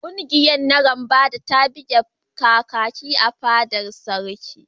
Ƙungiyar narambada ta buga Kakaki a fadar sarki.